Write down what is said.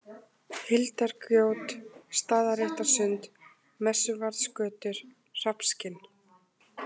Hildargjót, Staðarréttarsund, Messuvaðsgötur, Hrafnskinn